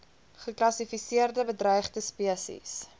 geklassifiseerde bedreigde spesies